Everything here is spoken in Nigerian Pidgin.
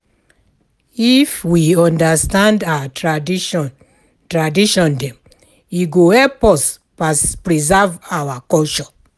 If we understand our tradition tradition dem, e go help us preserve our culture.